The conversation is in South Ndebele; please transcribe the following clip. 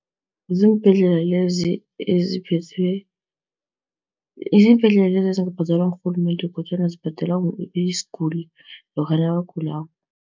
Ziimbhedlela lezi eziphethwe, ziimbhedlela lezi ezingabhadalwa ngurhulumende kodwana zibhadelwa isiguli lokha nakagulako.